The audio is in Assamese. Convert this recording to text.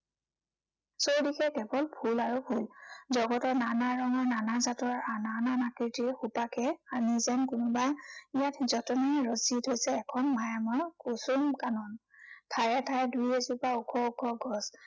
চৌদিশে কেৱল ফুল আৰু ফুল। জগতৰ নানা ৰঙৰ, নানা জাতৰ, নানান আকৃতিৰ সুবাসে আনি যেন কোনোবা ইয়াত যতনেৰে ৰচি থৈছে এখন মায়াময় কুসুম কানন। ঠায়ে ঠায়ে দুই এজোপা ওখ ওখ গছ।